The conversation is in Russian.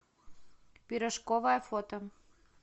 пирожковая фото